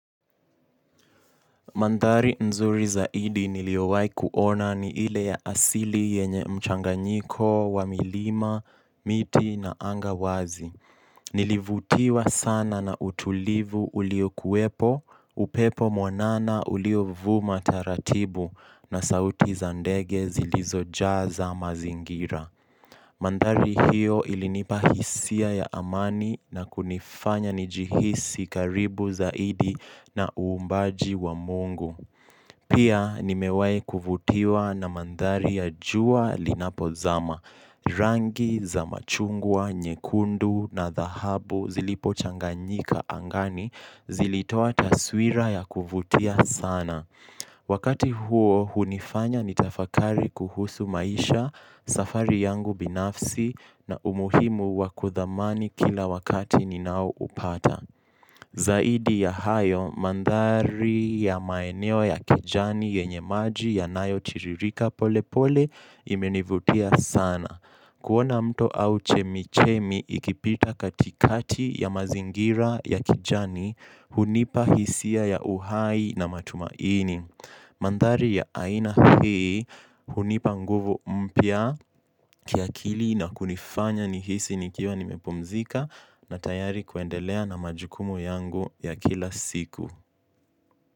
Mandhari nzuri zaidi niliowai kuona ni ile ya asili yenye mchanganyiko, wa milima, miti na anga wazi. Nilivutiwa sana na utulivu ulio kuwepo, upepo mwanana ulio vuma taratibu na sauti za ndege zilizo jaza mazingira. Mandhari hiyo ilinipa hisia ya amani na kunifanya nijihisi karibu zaidi na uumbaji wa Mungu. Pia nimewai kuvutiwa na mandhari ya jua linapo zama, rangi za machungwa, nyekundu na dahabu zilipo changanyika angani zilitoa taswira ya kuvutia sana. Wakati huo hunifanya nitafakari kuhusu maisha safari yangu binafsi na umuhimu wa kudhamani kila wakati ninao upata. Zaidi ya hayo, mandhari ya maeneo ya kijani yenye maji yanayo tiririka pole pole imenivutia sana. Kuona mto au chemichemi ikipita katikati ya mazingira ya kijani hunipa hisia ya uhai na matumaini. Mandhari ya aina hii hunipa nguvu mpya kiakili na kunifanya nihisi nikiwa nimepumzika na tayari kuendelea na majukumu yangu ya kila siku.